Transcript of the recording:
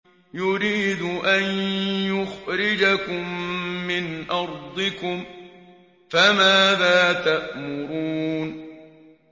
يُرِيدُ أَن يُخْرِجَكُم مِّنْ أَرْضِكُمْ ۖ فَمَاذَا تَأْمُرُونَ